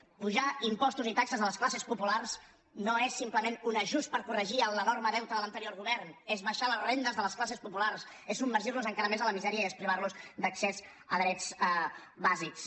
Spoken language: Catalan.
apujar impostos i taxes a les classes populars no és simplement un ajust per corregir l’enorme deute de l’anterior govern és abaixar les rendes de les classes populars és submergir los encara més en la misèria i és privar los d’accés a drets bàsics